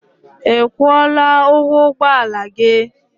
I kwụọla ụgwọ ụgbọala gị?